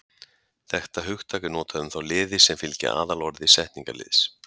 Þetta hugtak er notað um þá liði sem fylgja aðalorði setningarliðs.